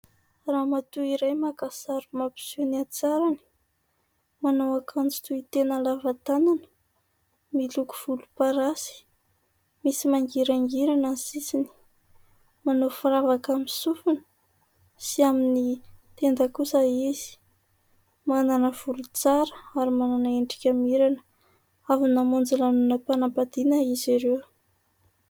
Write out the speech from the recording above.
Ramatoa iray maka sary mampiseho ny hatsarany. Manao akanjo tohitena lava tanana, miloko volomparasy, misy mangirangirana ny sisiny. Manao firavaka amin'ny sofina sy amin'ny tenda kosa izy. Manana volo tsara ary manana endrika mirana. Avy namonjy lanonam-panambadiana izy ireo.